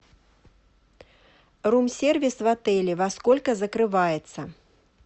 рум сервис в отеле во сколько закрывается